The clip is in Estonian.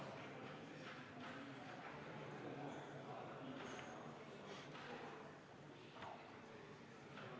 Istungi lõpp kell 14.04.